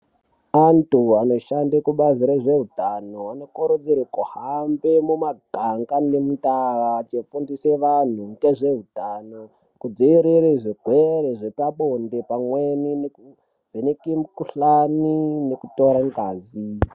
Antu anoshande kubazi rezveutano anokurudzirwa kuhambe mumaganga nemundau achinofundisa antu ngezveutano. Kudzivirire zvirwere zvepabonde pamweni nekuvheneke mukhuhlani nekutora ngazi.